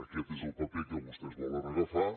aquest és el paper que vostès volen agafar